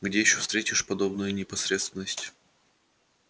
где ещё встретишь подобную непосредственность